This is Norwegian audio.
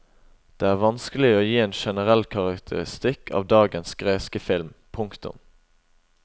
Det er vanskelig å gi en generell karakteristikk av dagens greske film. punktum